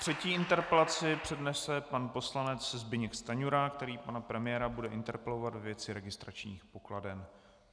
Třetí interpelaci přednese pan poslanec Zbyněk Stanjura, který pana premiéra bude interpelovat ve věci registračních pokladen.